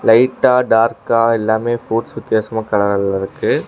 லைட்டா டார்க்கா எல்லாமே ஃப்ரூட்ஸ் வித்தியாசமா கலர்ல இருக்கு.